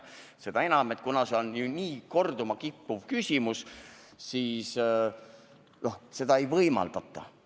Seda enam, et see on nii sageli korduma kippuv küsimus – juba sellepärast ei võimaldata seda.